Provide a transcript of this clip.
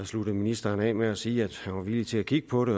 sluttede ministeren af med at sige at han var villig til at kigge på det